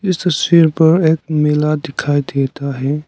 इस तस्वीर पर एक मेला दिखाई देता है।